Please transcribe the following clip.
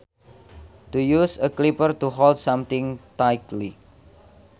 To use a clipper to hold something tightly